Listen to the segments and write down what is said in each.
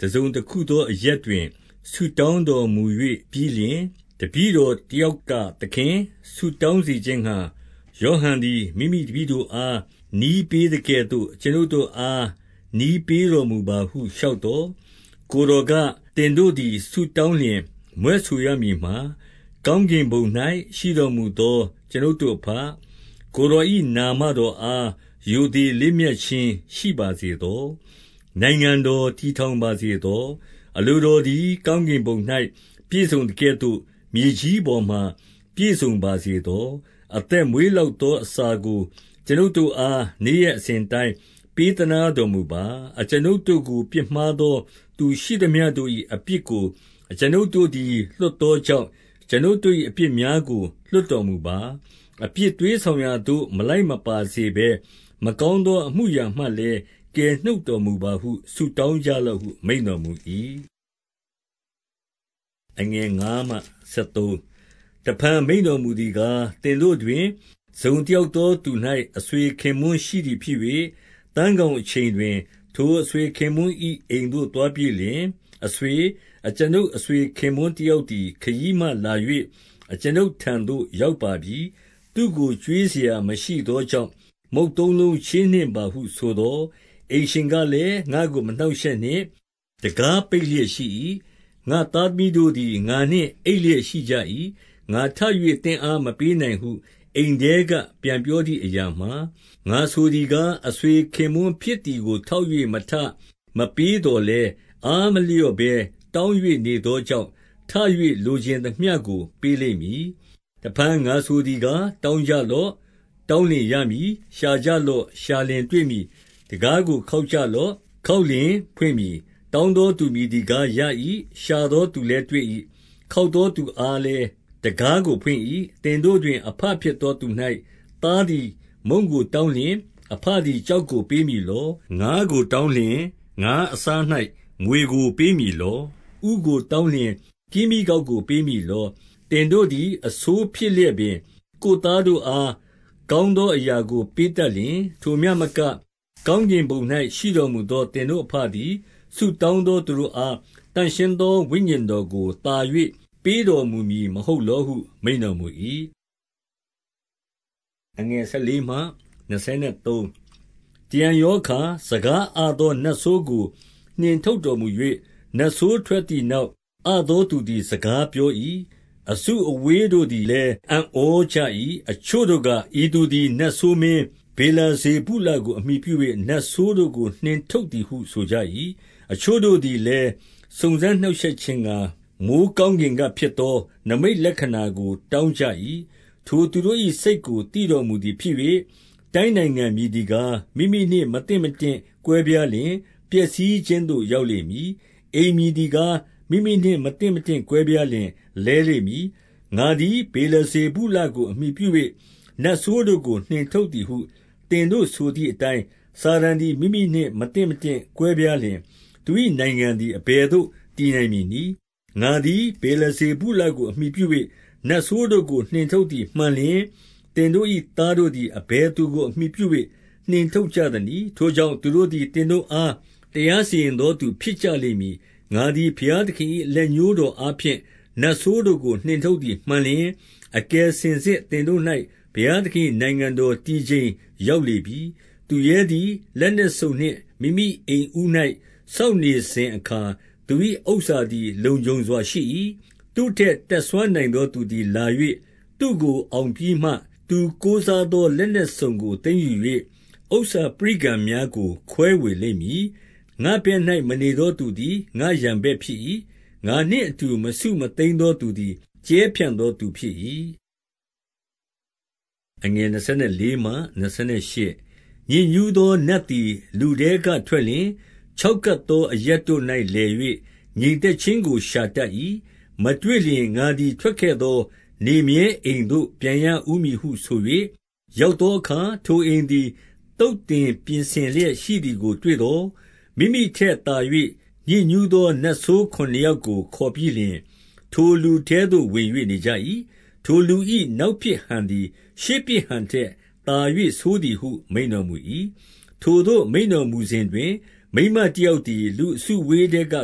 တစုံတခုသောအရပ်တွင် ဆုတောင်းတော်မူပြီးလျှင်၊ တပည့်တော် တ ယောက်က၊ သခင်၊ ဆုတောင်းစေခြင်းငှါ ယောဟန်သည်မိမိတပည့်တို့အား နည်းပေးသကဲ့သို့ အကျွန်ုပ်တို့အား နည်းပေးတော်မူပါဟု လျှောက်သော်၊ 2 ကိုယ်တော်က၊ သင်တို့သည်ဆုတောင်းလျှင် မြွက်ဆိုရမည်မှာ၊ ကောင်းကင်ဘုံ၌ ရှိတော်မူသော အကျွန်ုပ်တို့အဘ၊ ကိုယ်တော်၏ နာမတော်အား ရိုသေလေးမြတ်ခြင်းရှိပါစေသော။ နိုင်ငံတော် တည်ထောင် ပါစေသော။ 3 အလိုတော်သည် ကောင်းကင်ဘုံ၌ ပြည့်စုံသကဲ့သို့ မြေကြီးပေါ်မှာ ပြည့်စုံပါစေသော။ အသက်မွေး လောက်သောအစာကို အကျွန်ုပ်တို့အား နေ့ရက် အစဉ်အတိုင်း ပေးသနားတော်မူပါ။ 4 အကျွန်ုပ်တို့ကို ပြစ်မှားသောသူရှိသမျှတို့၏ အပြစ်ကို အကျွန်ုပ်သည်လွှတ်သောကြောင့်၊ အကျွန်ုပ် တို့၏အပြစ်များကို လွှတ်တော်မူပါ။ အပြစ်သွေးဆောင်ရာသို့ မလိုက်မပါစေဘဲ၊ မကောင်းသောအမှုအရာ မှလည်း ကယ်နှုတ်တော်မူပါဟု ဆုတောင်းကြလော့ဟု မိန့်တော်မူ၏။ 5 တဖန်မိန့်တော်မူသည်ကား၊ သင်တို့တွင် တစုံတယောက်သောသူ၌ အဆွေခင်ပွန်းရှိသည်ဖြစ်၍၊ သန်း ခေါင်အချိန်တွင် ထိုအဆွေခင်ပွန်း၏ အိမ်သို့သွားပြီးလျှင်၊ အဆွေ၊ 6 အကျွန်ုပ်အဆွခင်ပွန်းတယောက်သည် ခရီးမှလာ၍ အကျွန်ုပ်ထံသို့ရောက်ပါပြီ။ သူ့ကို ကျွေးစရာ မရှိသောကြောင့် မုန့်သုံးလုံးချေးနှင့် ပါဟုဆိုသော်၊ 7 အိမ်ရှင်ကလည်း၊ ငါ့ကိုမနှောင့်ရှက်နှင့်။ တံခါးပိတ်လျက်ရှိ၏။ ငါ့သားသမီးတို့သည် ငါနှင့်အိပ်လျက်ရှိ ကြ၏။ ငါထ၍ သင့်အားမပေးနိုင်ဟု အိမ်ထဲက ပြန်ပြောသည်အရာမှာ၊ 8 ငါဆိုသည်ကား၊ အဆွေခင်ပွန်းဖြစ်သည်ကိုထောက်၍ မထ၊ မပေးသော်လည်း၊ အားမလျော့ဘဲ တောင်း၍နေသောကြောင့် ထ၍လိုချင်သမျှကို ပေးလိမ့်မည်။ 9 တဖန်ငါဆိုသည်ကား၊ တောင်းကြလော့။ တောင်းလျှင်ရမည်။ ရှာကြလော့။ ရှာလျှင်တွေ့မည်။ တံခါး ကိုခေါက်ကြလော့၊ ခေါက်လျှင်ဖွင့်မည်။ 10 တောင်းသောသူမည်သည်ကားရ၏။ ရှာသောသူလည်းတွေ့၏။ ခေါက်သောသူအားလည်း တံခါးကို ဖွင့်၏။ 11 သင်တို့တွင် အဘဖြစ်သောသူ၌ သားသည် မုန့်ကိုတောင်းလျှင် အဘသည်ကျောက်ကိုပေးမည်လော့။ ငါးကိုတောင်းလျှင် ငါးအစား၌ မြွေကိုပေးမည်လော့။ 12 ဥကိုတောင်းလျှင် ကင်းမြီးကောက်ကို ပေးမည်လော။ 13 သင်တို့သည် အဆိုးဖြစ်လျက်ပင် ကိုယ်သားတို့အား ကောင်းသောအရာကို ပေးတတ်လျှင်၊ ထိုမျှမက ကောင်းကင်ဘုံ၌ ရှိတော်မူသော သင်တို့အဘသည် ဆုတောင်းသောသူတို့အား သန့်ရှင်းသောဝိညာဉ်တော်ကို သာ၍ ပေးတော်မူမည် မဟုတ်လောဟု မိန့်တော်မူ၏။ 14 တရံရောအခါ စကားအသောနတ်ဆိုးကို နှင်ထုတ်တော်မူ၍၊ နတ်ဆိုးထွက်သည်နောက် အသောသူ သည် စကားပြော၏။ အစုအဝေးတို့သည်လည်း အံ့ဩကြ၏။ 15 အချို့တို့က ဤသူသည် နတ်ဆိုးမင်း ဗေလဇေဗုလကို အမှီပြု၍ နတ်ဆိုးတို့ကို နှင်ထုတ်သည်ဟု ဆိုကြ၏။ 16 အချို့တို့သည်လည်း၊ စုံစမ်းနှောက်ယှက်ခြင်းငှါ မိုဃ်းကောင်းကင်ကဖြစ်သော နိမိတ်လက္ခဏာကို တောင်းကြ၏။ 17 ထိုသူတို့၏စိတ်ကို သိတော်မူသည်ဖြစ်၍၊ တိုင်းနိုင်ငံမည်သည်ကား၊ မိမိနှင့်မသင့်မတင့် ကွဲပြားလျှင် ပျက်စီးခြင်းသို့ရောက်လိမ့်မည်၊ အိမ်မည်သည်ကား၊ မိမိနှင့်မသင့်မတင့် ကွဲပြားလျှင်လဲလိမ့်မည်။ 18 ငါသည် ဗေလဇေဗုလကို အမှီပြု၍ နတ်ဆိုးတို့ကိုနှင်ထုတ်သည်ဟု သင်တို့ဆိုသည်အတိုင်း၊ စာတန် သည် မိမိနှင့် မသင်မတင့်ကွဲပြားလျှင် သူ၏နိုင်ငံသည် အဘယ်သို့တည်နိုင်မည်နည်း။ 19 ငါသည် ဗေလဇေဗုလကို အမှီပြု၍ နတ်ဆိုးတို့ကို နှင်ထုတ်သည်မှန်လျှင်၊ သင်တို့၏သားတို့သည် အဘယ်သူကိုအမှီပြု၍ နှင်ထုတ်ကြသနည်း။ထိုကြောင့် သူတို့သည် သင်တို့အားတရားစီရင်သောသူဖြစ်ကြ လိမ့်မည်။ 20 ငါသည် ဘုရားသခင်၏ လက်ညိုးတော်အားဖြင့် နတ်ဆိုးတို့ကို နှင်ထုတ်သည်မှန်လျှင်၊ အကယ်စင်စစ် သင်တို့၌ ဘုရားသခင်၏နိုင်ငံတော်တည်ချိန် ရောက်လေပြီ။ 21 သူရဲသည် လက်နက်စုံနှင့် မိမိအိမ်ဦး၌ စောင့်နေစဉ်အခါ သူ၏ဥစ္စာသည် လုံခြုံစွာရှိ၏။ 22 သူ့ထက် တတ်စွမ်းနိုင်သောသူသည်လာ၍ သူ့ကိုအောင်ပြီးမှ၊ သူကိုးစားသော လက်နက်စုံကို သိမ်း ယူ၍ ဥစ္စာပရိကံများကို ခွဲဝေလိမ့်မည်။ 23 ငါ့ဘက်၌ မနေသောသူသည် ငါ့ရန်ဘက်ဖြစ်၏။ ငါနှင့်အတူ မစုမသိမ်းသောသူသည် ကြဲဖြန့်သောသူ ဖြစ်၏။ 24 ညစ်ညူးသောနတ်သည် လူထဲကထွက်လျှင်၊ ခြောက်ကပ်သောအရပ်တို့၌လည်၍ ငြိမ်သက်ခြင်းကို ရှာတတ်၏။ မတွေ့လျှင်၊ ငါသည်ထွက်ခဲ့သော နေမြဲအိမ်သို့ပြန်ရဦးမည်ဟုဆို၍၊ 25 ရောက်သောအခါ၊ ထိုအိမ်သည် သုတ်သင်ပြင်ဆင်လျက်ရှိသည်ကို တွေ့သော်၊ 26 မိမိထက်သာ၍ ညစ်ညူးသောနတ်ဆိုးခုနစ်ယောက်ကို ခေါ်ပြီးလျှင် ထိုလူထဲသို့ဝင်၍ နေကြ၏၊ ထို လူ၏နောက်ဖြစ်ဟန်သည် ရှေ့ဖြစ်ဟန်ထက်သာ၍ ဆိုးသည်ဟု မိန့်တော်မူ၏။ 27 ထိုသို့မိန့်တော်မူစဉ်တွင် မိန်းမတယောက်သည် လူအစုအဝေးထဲက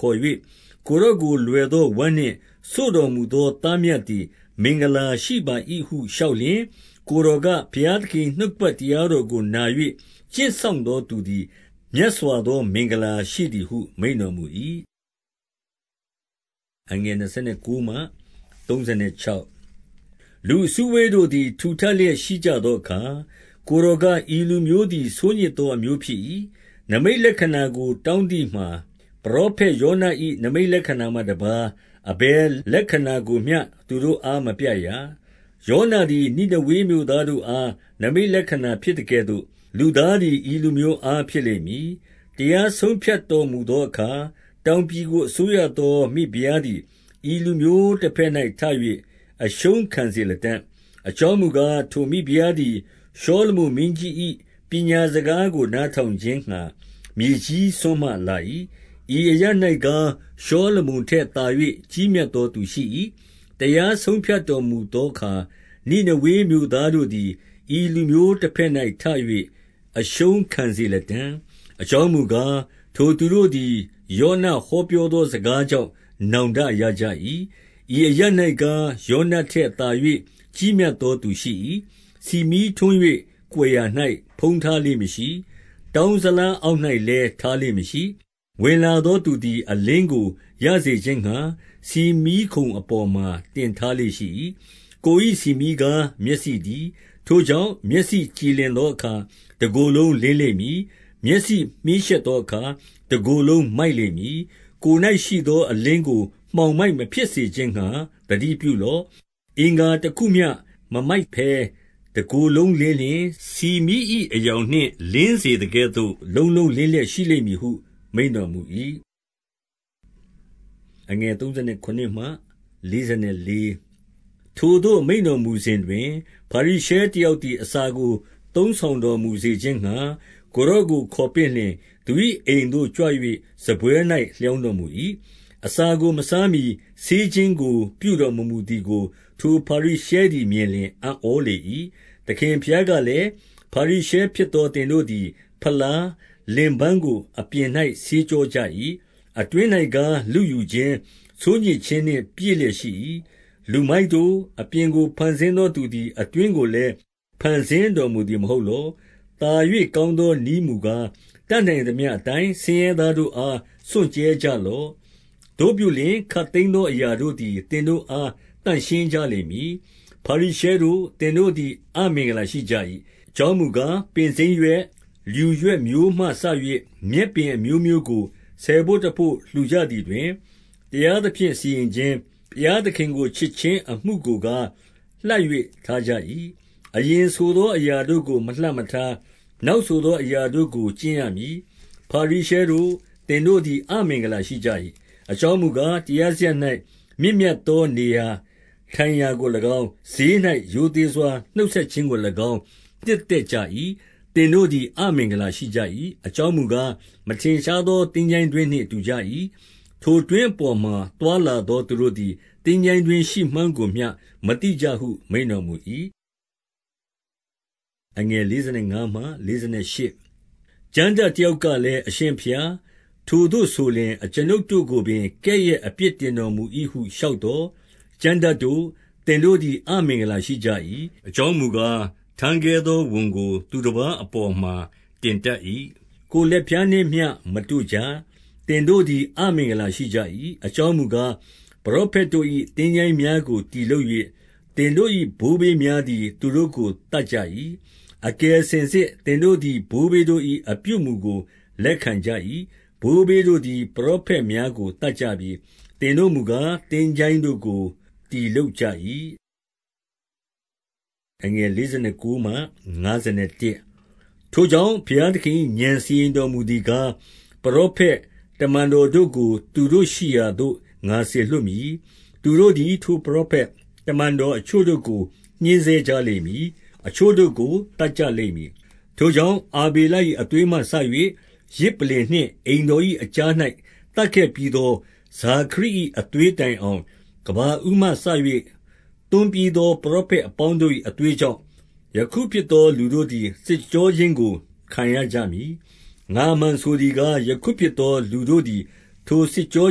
ခေါ်၍ ကိုယ်တော်ကို လွယ်သော ဝမ်းနှင့် စို့တော်မူသောသားမြတ်သည် မင်္ဂလာရှိပါ၏ဟု လျှောက်လျှင်၊ 28 ကိုယ်တော်က၊ ဘုရားသခင်၏ နှုတ်ကပတ်တရားတော်ကို နာ၍ကျင့်စောင့်သောသူသည် မြတ်စွာ သော မင်္ဂလာရှိသည်ဟု မိန့်တော်မူ၏။ 29 လူအစုအဝေးတို့သည် ထူထပ်လျက်ရှိကြသောအခါ ကိုယ်တော်က၊ ဤလူမျိုးသည် ဆိုးညစ်သောအမျိုး ဖြစ်၏။ နိမိတ်လက္ခဏာကို တောင်းသည်မှာ ပရောဖက်ယောန၏ နိမိတ်လက္ခာမှတပါး အဘယ်လက္ခဏာကိုမျှ သူတို့အားမပြရာ။ 30 ယောနသည် နိနေဝေမြို့သားတို့အား နိမိတ်လက္ခဏာဖြစ်သကဲ့သို့ လူသားသည် ဤလူမျိုးအား ဖြစ်လိမ့်မည်။ 31 တရားဆုံးဖြတ်တော်မူသောအခါ တောင်ပြည်ကို အစိုးရသောမိဖုရားသည် ဤလူမျိုးတဘက်၌ထ၍ အရှုံးခံစေလတံ့။ အကြောင်းမူကား။ ထိုမိဖုရားသည် ရှောလမုန်မင်းကြီး၏ ပညာစကားကို နားထောင်ခြင်းငှါ မြေကြီးစွန်းမှလာ၏။ ဤအရပ်၌ကား၊ ရှောလမုန်ထက်သာ၍ ကြီးမြတ်သောသူရှိ၏။ 32 တရားဆုံးဖြတ်တော်မူသောအခါ နိနေဝေမြို့သားတို့သည် ဤလူမျိုးတဘက်၌ထ၍ အရှုံးခံစေလတံ့။ အကြောင်းမူကား၊ ထိုသူတို့သည် ယောန ဟောပြောသော စကားကြောင့် နောင်တရကြ၏။ 33 ဤအရပ်၌ကား ယောနထက်သာ၍ ကြီးမြတ်သောသူရှိ၏။ ဆီမီးထွန်း၍ ကွယ်ရာ၌ဖုံးထားလေ့မရှိ။ တောင်းဇလားအောက်၌လည်း ထားလေ့မရှိ။ ဝင်လာသောသူသည် အလင်းကိုရစေခြင်းငှါ ဆီမီးခုံအပေါ်မှာ တင်ထားလေ့ရှိ၏။ 34 ကိုယ်၏ဆီမီးကား၊ မျက်စိတည်း။ ထိုကြောင့် မျက်စိကြည်လင်သောအခါ တကိုယ်လုံးလင်းလိမ့်မည်။ မျက်စိမြှေးရှက်သောအခါ တကိုယ်လုံးမိုက်လိမ့်မည်။ 35 ကိုယ်၌ရှိသောအလင်းကို မှောင်မိုက်မဖြစ်စေခြင်းငှါ သတိပြုလော့။ 36 အင်္ဂါတခုမျှမမိုက်ဘဲ တကိုယ်လုံးလင်းလျှင်၊ ဆီမီး၏အရောင်နှင့် လင်းစေသကဲ့သို့ လုံးလုံးလင်းလျက် ရှိလိမ့်မည်ဟု မိန့်တော်မူ၏။ 37 ထိုသို့မိန့်တော်မူစဉ်တွင် ဖရိရှဲတယောက်သည် အစာကိုသုံးဆောင်တော်မူစေခြင်းငှါ ကိုယ်တော်ကို ခေါ်ပင့်လျှင်၊ သူ၏အိမ်သို့ကြွ၍ စားပွဲ၌ လျောင်းတော်မူ၏။ 38 အစာကိုမစားမှီ ဆေးခြင်းကို ပြုတော်မမူသည်ကို ဖာရိရှဲသည်မြင်လျှင် အံ့ဩလေ၏။ 39 သခင်ဘုရားကလည်း၊ ဖာရိရှဲဖြစ်သော သင်တို့သည် ဖလား၊ လင်ပန်းကိုအပြင်၌ ဆေးကြောကြ၏။ အတွင်း၌ကား လုယူခြင်း၊ ဆိုးညစ်ခြင်းနှင့် ပြည့်လျက်ရှိ၏။ 40 လူမိုက်တို့၊ အပြင်ကို ဖန်ဆင်းသောသူသည် အတွင်းကိုလည်း ဖန်ဆင်းတော်မူသည်မဟုတ်လော။ 41 သာ၍ကောင်းသောနည်းမူကား၊ တတ်နိုင်သမျှအတိုင်း ဆင်းရဲသားတို့အား စွန့်ကြဲကြလော့။ သို့ပြုလျှင် ခပ်သိမ်းသောအရာတို့သည် သင်တို့အားသန့်ရှင်းကြလိမ့်။ 42 ဖာရိရှဲတို့၊ သင်တို့သည် အမင်္ဂလာရှိကြ၏။ အကြောင်းမူကား၊ ပင်စိမ်းရွက်၊ လျူရွက်မျိုးမှစ၍ မြက်ပင် အမျိုးမျိုးကို ဆယ်ဘို့တဘို့ လှူကြသည်တွင်၊ တရားသဖြင့်စီရင်ခြင်း၊ ဘုရားသခင်ကိုချစ်ခြင်းအမှုကိုကား လှပ်၍ ထားကြ၏။ အရင်ဆိုသောအရာတို့ကို မလှပ်မထား၊ နောက်ဆိုသောအရာတို့ကို ကျင့်ရမည်။ 43 ဖာရိရှဲတို့၊ သင်တို့သည် အမင်္ဂလာရှိကြ၏။ အကြောင်းမူကား၊ တရားစရပ်၌ မြင့်မြတ်သောနေရာ ထိုင် ရာကို၎င်း၊ ဈေး၌ရိုသေစွာနှုတ်ဆက်ခြင်းကို၎င်း နှစ်သက်ကြ၏။ 44 သင်တို့သည် အမင်္ဂလာရှိကြ၏။ အကြောင်းမူကား၊ မထင်ရှားသော သင်္ချိုင်းတွင်းနှင့်တူကြ၏။ ထိုတွင်းအပေါ်မှာ သွားလာသောသူတို့သည် သင်္ချိုင်းတွင်းရှိမှန်းကိုမျှ မသိကြဟု မိန့်တော်မူ၏။ 45 ကျမ်းတတ်တယောက်ကလည်း၊ အရှင်ဘုရား ထိုသို့ဆိုလျှင် အကျွန်ုပ်တို့ကိုပင် ကဲ့ရဲ့အပြစ်တင်တော်မူ ၏ဟု လျှောက်သော်၊ 46 ကျမ်းတတ်တို့၊ သင်တို့သည် အမင်္ဂလာရှိကြ၏။ အကြောင်းမူကား၊ ထမ်းခဲသော ဝန်ကိုသူတပါး အပေါ်မှာ တင်တတ်၏။ 47 ကိုယ်လက်ဖျားနှင့်မျှမတို့ကြ။ သင်တို့သည် အမင်္ဂလာရှိကြ၏။ အကြောင်းမူကား၊ ပရောဖက်တို့၏ သင်္ချိုင်းများကိုတည်လုပ်၍၊ သင်တို့၏ ဘိုးဘေးများသည် သူတို့ကိုသတ်ကြ၏။ 48 အကယ်စင်စစ် သင်တို့သည် ဘိုးဘေးတို့၏ အပြုအမူကိုလက်ခံကြ၏။ ဘိုးဘေးတို့သည် ပရောဖက် များကို သတ်ကြပြီ။ သင်တို့မူကား၊ သင်္ချိုင်းတို့ကို တည်လုပ်ကြ၏။ 49 ထိုကြောင့်၊ ဘုရားသခင်၏ ဥာဏ်စီရင်တော်မူသည်ကား၊ ပရောဖက်၊ တမန်တော်တို့ကို သူတို့ရှိရာသို့ ငါစေလွှတ်မည်။ သူတို့သည် ထိုပရာဖက်၊ တမန်တော်အချို့တို့ကို ညှဉ်းဆဲကြလိမ့်မည်။ အချို့တို့ကို သတ်ကြ လိမ့်မည်။ 50 ထိုကြောင့်၊ အာဗေလ၏ အသွေးမှစ၍၊ ယဇ်ပလ္လင်နှင့် အိမ်တော်၏အကြား၌ သတ်ခဲ့ပြီးသော ဇာခရိ ၏အသွေးတိုင်အောင် ကမ္ဘာဦးမှစ၍ သွန်းပြီးသော ပရောဖက်အပေါင်းတို့၏အသွေးကြောင့် ယခုဖြစ်သော လူတို့သည် စစ်ကြောခြင်းကို ခံရကြမည်။ 51 ငါအမှန်ဆိုသည်ကား၊ ယခုဖြစ်သောလူတို့သည် ထိုစစ်ကြော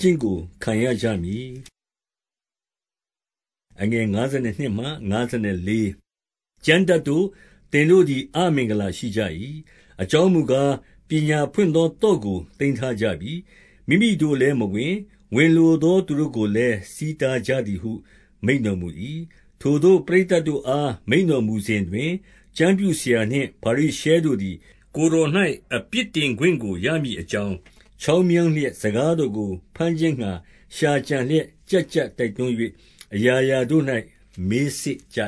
ခြင်းကိုခံရကြမည်။ 52 ကျမ်းတတ်တို့၊ သင်တို့သည် အမင်္ဂလာရှိကြ၏။ အကြောင်းမူကား၊ ပညာဖွင့်သော သော့ကို သိမ်းထား ကြပြီ။ မိမိတို့လည်းမဝင်၊ ဝင်လိုသောသူတို့ကိုလည်း ဆီးတားကြသည်ဟု မိန့်တော်မူ၏။ 53 ထိုသို့ ပရိတ်သတ်တို့အား မိန့်တော်မူစဉ်တွင် ကျမ်းပြုဆရာနှင့် ဖာရိရှဲတို့သည် ကိုယ်တော်၌အပြစ် တင်ခွင့်ကို ရမည်အကြောင်း၊ 54 ချောင်းမြောင်းလျက် စကားတော်ကိုဘမ်းခြင်းငှါ ရှာကြံလျက်၊ ကျပ်ကျပ်တိုက်တွန်း၍ အရာရာတို့၌ မေးစစ်ကြ